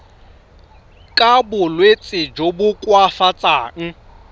ka bolwetsi jo bo koafatsang